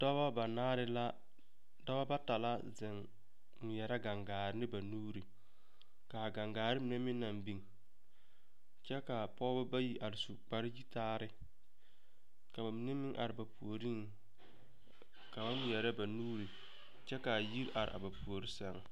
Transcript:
Dɔba banaare la dɔba bata la zeŋ ŋmeɛrɛ gaŋgaare ne ba nuure ka a gaŋgaare mine meŋ naŋ biŋ kyɛ ka a pɔgeba bayi are su kpareyitaare ka ba mine meŋ are ba puoriŋ ka ba ŋmɛre ba nuure kyɛ ka a yiri are ba puori sɛŋ.